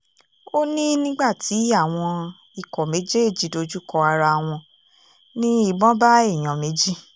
ó ní nígbà tí àwọn ikọ̀ méjèèjì dojúkọ ara wọn ní ìbọn bá èèyàn méjì